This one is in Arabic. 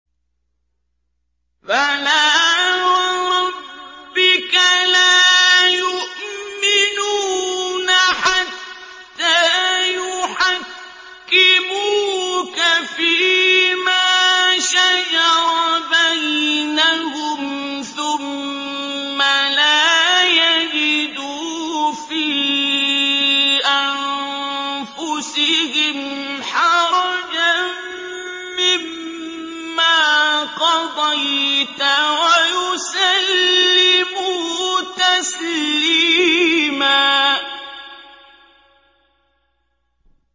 فَلَا وَرَبِّكَ لَا يُؤْمِنُونَ حَتَّىٰ يُحَكِّمُوكَ فِيمَا شَجَرَ بَيْنَهُمْ ثُمَّ لَا يَجِدُوا فِي أَنفُسِهِمْ حَرَجًا مِّمَّا قَضَيْتَ وَيُسَلِّمُوا تَسْلِيمًا